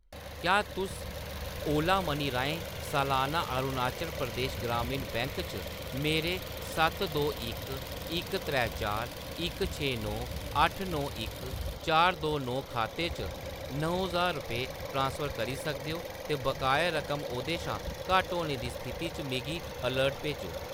क्या तुस Ola money राहें सलाना अरुणाचल प्रदेश ग्रामीण बैंक च मेरे सत्त दो इक इक त्रै चार इक छे नौ अट्ठ नौ इक चार दो नौ खाते च नौ ज्हार रपेऽ ट्रांसफर करी सकदे ओ ते बकाया रकम ओह्दे शा घट्ट होने दी स्थिति च मिगी अलर्ट भेजो?